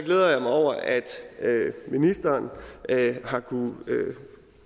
ministeren har kunnet